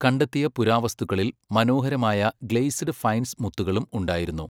കണ്ടെത്തിയ പുരാവസ്തുക്കളിൽ മനോഹരമായ ഗ്ലേസ്ഡ് ഫൈൻസ് മുത്തുകളും ഉണ്ടായിരുന്നു.